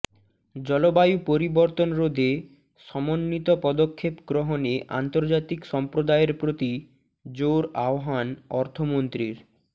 জলবায়ু পরিবর্তন রোধে সমন্বিত প্রদক্ষেপ গ্রহণে আন্তর্জাতিক সম্প্রদায়ের প্রতি জোর আহ্বান অর্থমন্ত্রীর